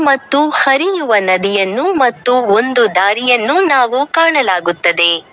ಮತ್ತು ಹರಿಯುವ ನದಿಯನ್ನು ಮತ್ತು ಒಂದು ದಾರಿಯನ್ನು ನಾವು ಕಾಣಲಾಗುತ್ತದೆ.